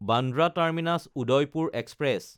Bandra Terminus-Udaipur express